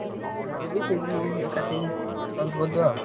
ତାକୁ ପଚାରିଦେବି ସେଇଠି ତମେ ଏକାଥରେ solve କରିଦବା ଆଉ।